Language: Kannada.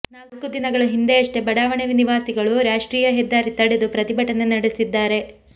ನಾಲ್ಕು ದಿನಗಳ ಹಿಂದೆಯಷ್ಟೇ ಬಡಾವಣೆ ನಿವಾಸಿಗಳು ರಾಷ್ಟ್ರೀಯ ಹೆದ್ದಾರಿ ತಡೆದು ಪ್ರತಿಭಟನೆ ನಡೆಸಿದ್ದಾರೆ